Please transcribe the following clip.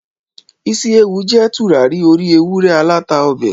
Isi Ewu jé turari ori ewurẹ alata ọbẹ